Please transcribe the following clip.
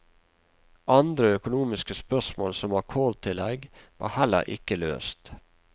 Andre økonomiske spørsmål, som akkordtillegg, var heller ikke løst.